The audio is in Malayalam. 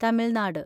തമിൽനാട്